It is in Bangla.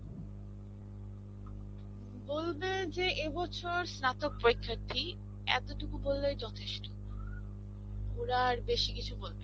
বলবে যে এবছর স্নাতক পরীক্ষার্থী. এতটুকু বললেই যথেষ্ঠ. ওরা, আর বেশী কিছু বলবেনা.